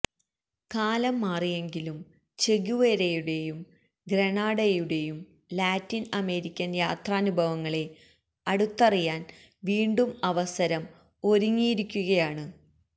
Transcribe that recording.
കാലം മാറിയെങ്കിലും ചെഗുവേരയുടെയും ഗ്രെനാഡയുടെയും ലാറ്റിന് അമേരിക്കന് യാത്രാനുഭവങ്ങളെ അടുത്തറിയാന് വീണ്ടും അവസരം ഒരുങ്ങിയിരിക്കുകയാണ്